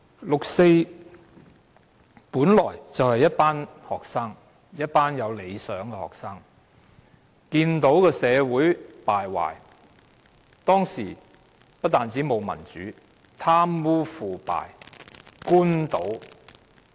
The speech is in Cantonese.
六四本來是一群學生，一群有理想的學生，看到當時社會敗壞，不但沒有民主，而且貪污、腐敗、官倒。